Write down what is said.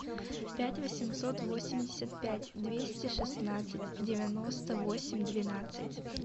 пять восемьсот восемьдесят пять двести шестнадцать девяносто восемь двенадцать